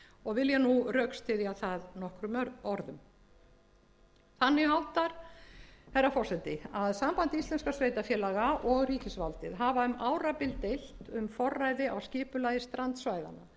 og vil ég nú rökstyðja með með nokkrum orðum þannig háttar herra forseti að samband íslenskra sveitarfélaga og ríkisvaldið hafa um árabil deilt um forræði á skipulagi strandsvæðanna en